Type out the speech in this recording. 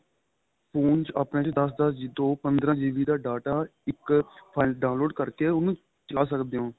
phone ਚ ਆਪਣੇ ਚ ਦੱਸ ਦੱਸ ਤੋਂ ਪੰਦਰਾਂ GB ਦਾ data ਇੱਕ ਫੀਲੇ ਚ download ਕਰਕੇ ਉਨੂੰ ਚਲਾ ਸਕਦੇ ਓ